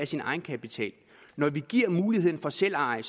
sin egenkapital når vi giver muligheden for selveje